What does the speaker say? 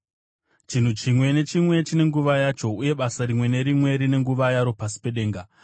Chinhu chimwe nechimwe chine nguva yacho, uye basa rimwe nerimwe rine nguva yaro pasi pedenga: